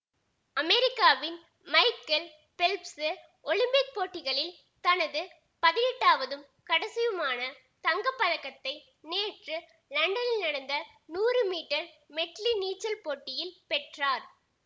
அமெரிக்காவின் Michael Phelps Olympic போட்டிகளில் தனது பதினெட்டாவதும் கடைசியுமான தங்க பதக்கத்தை நேற்று லண்டனில் நடந்த நூறு மீட்டர் மெட்லி நீச்சல் போட்டியில் பெற்றார்